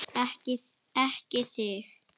Ekki þig!